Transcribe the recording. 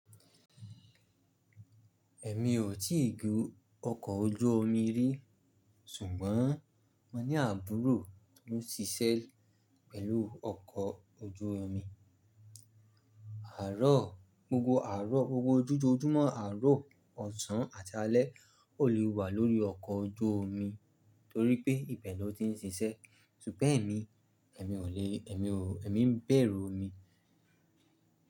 Ẹ̀mí ò tíì gùn ọkọ̀ ojú omi rí, ṣùgbọ́n mo ní àbúrò tón ṣíṣẹ́ pẹ̀lú ọkọ̀ ojú omi. Àárọ̀, gbogbo àárọ̀, gbogbo ojo ojúmọ́ àárọ̀, ọ̀sán àti alẹ́, o lè wà lórí ọkọ̀ ojú omi torí pé ibẹ̀ lọ́ ti ń ṣíṣẹ́. Ṣùgbọ́n ẹ̀mi, ẹ̀mi ò lè, ẹ̀mi ò, ẹ̀mi ń bẹ̀rù omi.